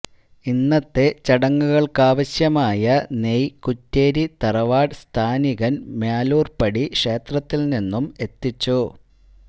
ഇന്നത്തെ ചടങ്ങുകള്ക്കാവശ്യമായ നെയ്യ് കുറ്റ്യേരി തറവാട് സ്ഥാനീകന് മാലൂര്പടി ക്ഷേത്രത്തില് നിന്നും എത്തിച്ചു